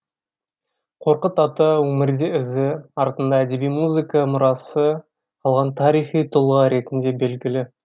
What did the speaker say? қорқыт ата өмірде ізі артында әдеби музыка мұрасы қалған тарихи тұлға ретінде белгілі